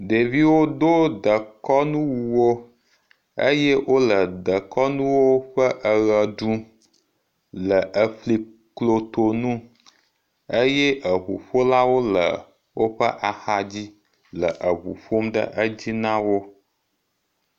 Ɖeviwo do dekɔnuwuwo eye wo le dekɔnu ƒe eʋe ɖum le efli kloto nu eye eŋuƒolawo le woƒe axa dzi le eŋu ƒom ɖe edzi na wo.